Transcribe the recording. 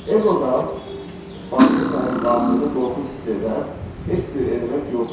Eqodan başqa sənin daxilində qorxu hiss edən heç bir element yoxdur.